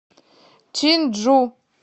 чинджу